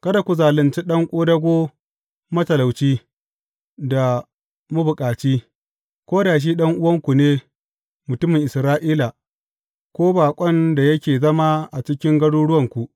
Kada ku zalunci ɗan ƙodago matalauci da mabukaci, ko da shi ɗan’uwanku ne mutumin Isra’ila, ko baƙon da yake zama a cikin garuruwanku.